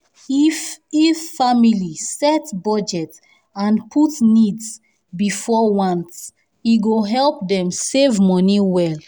if if family set budget and put needs before wants e go help dem save money well.